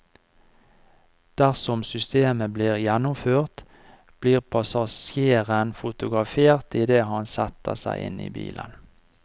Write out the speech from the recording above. Dersom systemet blir gjennomført, blir passasjeren fotografert idet han setter seg inn i bilen.